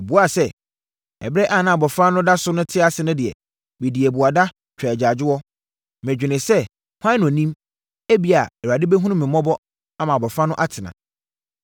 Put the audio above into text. Ɔbuaa sɛ, “Ɛberɛ a na abɔfra no da so te ase no deɛ, medii abuada, twaa agyaadwoɔ. Medwenee sɛ, ‘Hwan na ɔnim? Ebia, Awurade bɛhunu me mmɔbɔ ama abɔfra no atena.’